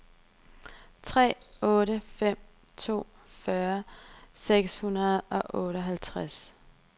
tre otte fem to fyrre seks hundrede og otteoghalvtreds